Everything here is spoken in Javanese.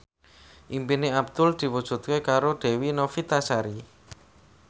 impine Abdul diwujudke karo Dewi Novitasari